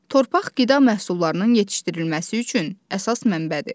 Torpaq qida məhsullarının yetişdirilməsi üçün əsas mənbədir.